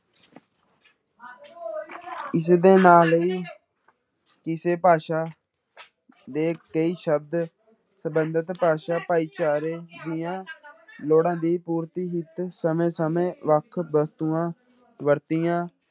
ਇਸਦੇ ਨਾਲ ਹੀ ਕਿਸੇ ਭਾਸ਼ਾ ਦੇ ਕਈ ਸ਼ਬਦ ਸੰਬੰਧਿਤ ਭਾਸ਼ਾ ਭਾਈਚਾਰੇ ਦੀਆਂ ਲੋੜਾਂ ਦੀ ਪੁਰਤੀ ਹਿੱਤ ਸਮੇਂ ਸਮੇਂ ਵੱਖ ਵਸਤੂਆਂ ਵਰਤੀਆਂ